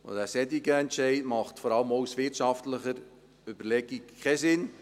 Ein solcher Entscheid macht vor allem auch aus wirtschaftlichen Überlegungen keinen Sinn.